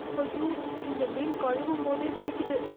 ஐயோ இந்த மீன் கழுவும்போதே குதிக்குது